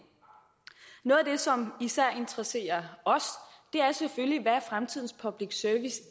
det som især interesserer os er selvfølgelig hvad fremtidens public service